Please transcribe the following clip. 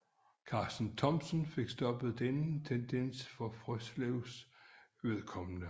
Karsten Thomsen fik stoppet denne tendens for Frøslevs vedkommende